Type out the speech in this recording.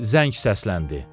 Zəng səsləndi.